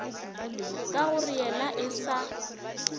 ka gore yena e sa